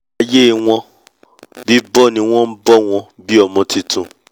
aiyé wọ́n bíbọ́ ni wọ́n bọ́ wọn bi ọmọ tuntun